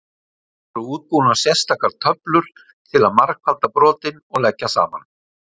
Voru útbúnar sérstakar töflur til að margfalda brotin og leggja saman.